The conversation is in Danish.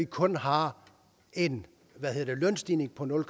kun har en lønstigning på nul